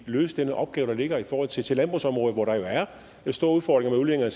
løse den opgave der ligger i forhold til til landbrugsområdet hvor der jo er store udfordringer